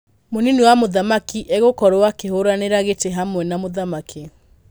Mũnini wa mũthamaki egũkorwo akĩhũranira gĩtĩ hamwe na mũthamaki.